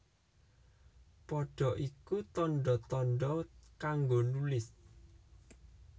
Pada iku tandha tandha kanggo nulis